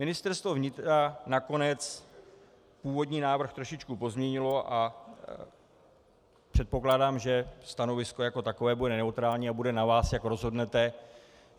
Ministerstvo vnitra nakonec původní návrh trošičku pozměnilo a předpokládám, že stanovisko jako takové bude neutrální a bude na vás, jak rozhodnete.